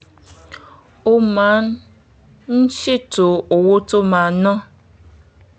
ó máa um ń ṣètò owó tó máa ná